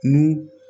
N'u